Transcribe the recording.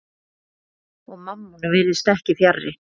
Og Mammon virðist ekki fjarri.